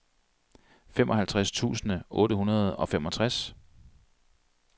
femoghalvtreds tusind otte hundrede og femogtres